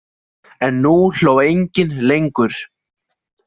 En nú hló enginn lengur.